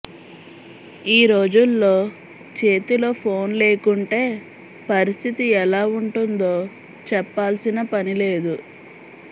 ఈ రోజుల్లో చేతిలో ఫోన్ లేకుంటే పరిస్థితి ఎలా ఉంటుందో చెప్పాల్సిన పని లేదు